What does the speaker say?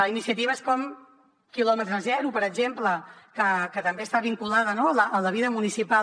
iniciatives com quilòmetre zero per exemple que també està vinculada a la vida municipal